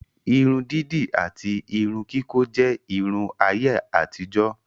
Irun dídì àti Irun kíkọ́ jẹ́ Irun ayé àtijó